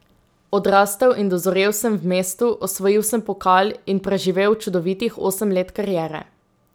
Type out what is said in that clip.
Odrastel in dozorel sem v mestu, osvojil sem pokal in preživel čudovitih osem let kariere.